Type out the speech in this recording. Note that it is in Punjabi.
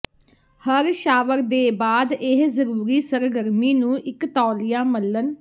ਹਰ ਸ਼ਾਵਰ ਦੇ ਬਾਅਦ ਇਹ ਜ਼ਰੂਰੀ ਸਰਗਰਮੀ ਨੂੰ ਇੱਕ ਤੌਲੀਆ ਮਲਣ